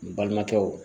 N balimakɛw